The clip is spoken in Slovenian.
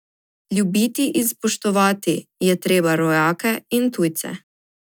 Ljubiti in spoštovati je treba rojake in tujce.